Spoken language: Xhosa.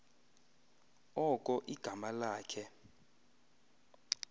oko igama lakhe